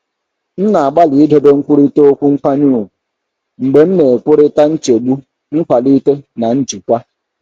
M na-agbalị idobe nkwurịta okwu nkwanye ùgwù mgbe m na-ekwurịta nchegbu nkwalite na njikwa.